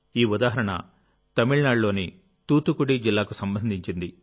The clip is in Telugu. ఈ ఉదాహరణ తమిళనాడులోని తూత్తుకుడి జిల్లాకు సంబంధించింది